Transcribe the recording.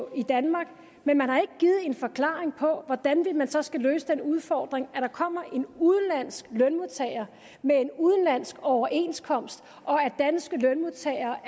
i danmark men man har ikke givet en forklaring på hvordan man så skal løse den udfordring at der kommer en udenlandsk lønmodtager med en udenlandsk overenskomst og at danske lønmodtagere